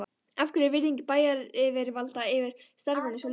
Af hverju er virðing bæjaryfirvalda fyrir starfinu svo lítil?